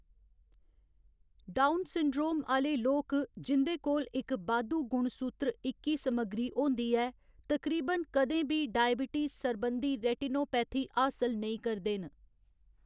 Down syndrome आह्‌‌‌ले लोक, जिं'दे कोल इक बाद्धू गुणसूत्र इक्की समग्गरी होंदी ऐ, तकरीबन कदें बी डायब्टीज सरबंधी रेटिनोपैथी हासल नेईं करदे न।